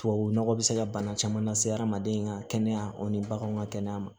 Tubabu nɔgɔ bɛ se ka bana caman lase adamaden ka kɛnɛya o ni baganw ka kɛnɛya ma